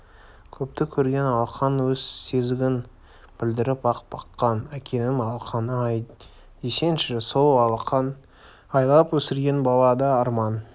көпті көрген алақан өз сезігін білдіріп-ақ баққан әкенің алақаны-ай десеңші сол алақан аялап өсірген балада арман